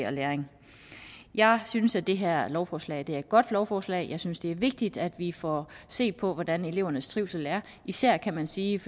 og læring jeg synes at det her lovforslag er et godt lovforslag jeg synes at det er vigtigt at vi får set på hvordan elevernes trivsel er især kan man sige